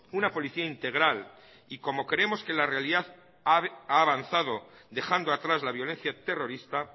una policía integral y como creemos que la realidad ha avanzado dejando atrás la violencia terrorista